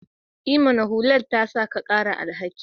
I mana! hular ta sa ka ƙara alhaki